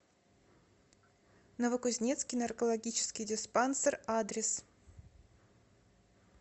новокузнецкий наркологический диспансер адрес